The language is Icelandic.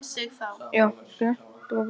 Nei annars, það var ekki rétt.